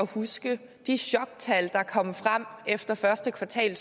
huske de choktal der kom frem efter første kvartal af